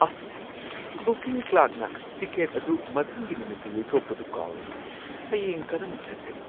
ꯑꯥꯁ! ꯕꯨꯀꯤꯡ ꯀ꯭ꯂꯔꯛꯅ ꯇꯤꯀꯦꯠ ꯑꯗꯨ ꯃꯊꯪꯒꯤ ꯅꯨꯃꯤꯠꯇ ꯌꯩꯊꯣꯛꯄꯗꯨ ꯀꯥꯎꯔꯦ ꯫ ꯍꯌꯦꯡ ꯀꯔꯝꯅ ꯆꯠꯀꯅꯤ?